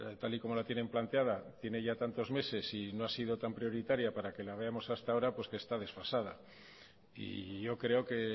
tal y como la tienen planteada tiene ya tantos meses y no ha sido tan prioritaria para que la veamos hasta ahora pues que está desfasada y yo creo que